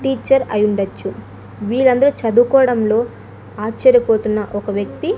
teacher అయ్యుండొచ్చు వీరందరు చదువుకోవడంలో ఆశ్చర్యపోతున్న ఒక వ్యక్తి--